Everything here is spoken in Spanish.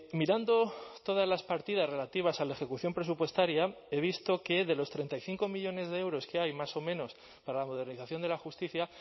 mirando todas las partidas relativas a la ejecución presupuestaria he visto que de los treinta y cinco millónes de euros que hay más o menos para la modernización de la justicia